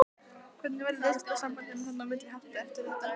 Hvernig verður viðskiptasambandinu þarna á milli háttað eftir þetta?